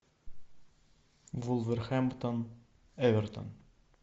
вулверхэмптон эвертон